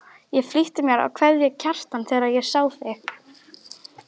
Ég flýtti mér að kveðja Kjartan þegar ég sá þig.